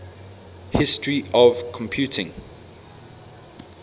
history of computing